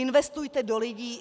Investujte do lidí.